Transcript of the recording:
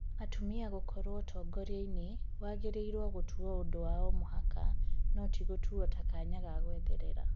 Atumia gũkorwo ũtongoria-inĩ wagĩrĩirwo gũtuo ũndũ wa o-mũhaka no tigũtũo ta kanya ga gũetherera.